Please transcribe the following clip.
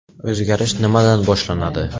O‘zgarish nimadan boshlanadi?